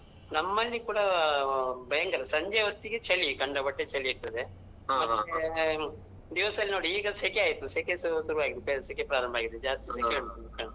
ನಮ್ಮಲ್ಲಿ ಕೂಡ ಭಯಂಕರ ಸಂಜೆ ಹೊತ್ತಿಗೆ ಚಳಿ ಖಂಡ ಪತ್ತೆ ಚಳಿ ಇರ್ತದೆ. ದಿವಸ ಲ್ಲಿ ನೋಡಿ ಈಗ ಸೆಕೆ ಆಯಿತು ಸೆಕೆ ಸ ಶುರುವಾಯಿತು ಸೆಕೆ ಪ್ರಾರಂಭವಾಗಿದೆ ಜಾಸ್ತಿ ಸೆಕೆ ಉಂಟು.